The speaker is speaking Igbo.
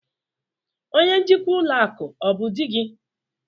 Onye njikwa ụlọ akụ ọ bụ di gị?